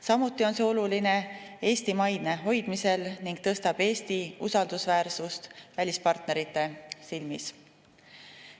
Samuti on see oluline Eesti maine hoidmisel ning tõstab Eesti usaldusväärsust välispartnerite silmis.